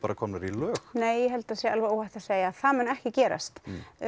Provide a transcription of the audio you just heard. komnar í lög nei ég held að það sé óhætt að segja að það muni ekki gerast